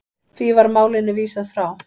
Því var málinu vísað frá.